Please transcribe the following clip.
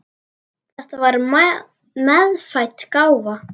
Þetta var meðfædd gáfa.